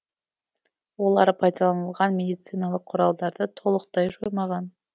олар пайдаланылған медициналық құралдарды толықтай жоймаған